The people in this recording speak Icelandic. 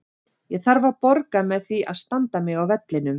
Ég þarf að borga með því að standa mig á vellinum.